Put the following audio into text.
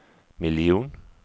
miljon